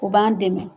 U b'an dɛmɛ